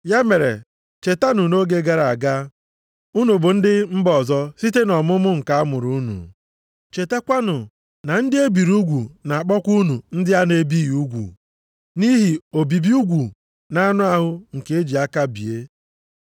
Ya mere, chetanụ na nʼoge gara aga, unu bụ ndị mba ọzọ site nʼọmụmụ nke a mụrụ unu. Chetakwanụ na “ndị e biri ugwu” na-akpọkwa unu “ndị a na-ebighị ugwu” (nʼihi obibi ugwu nʼanụ ahụ nke eji aka bie).